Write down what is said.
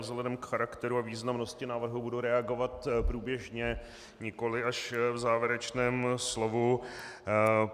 Vzhledem k charakteru a významnosti návrhu budu reagovat průběžně, nikoli až v závěrečném slovu.